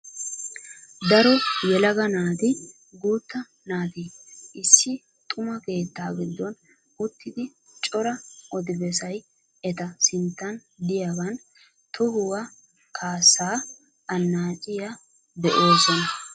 Daro yelaga naatinne guutta naati issi xuma keettaa giddon uttidi cora odi bessay eta sinttan diyagan tohuwa kaassa annaacciya be'oosona.